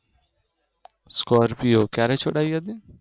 Scorpio ક્યારે છોડાયી હતી